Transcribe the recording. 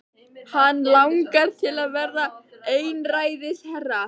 Hann langar til að verða einræðisherra.